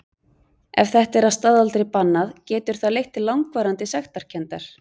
Ef þetta er að staðaldri bannað getur það leitt til langvarandi sektarkenndar.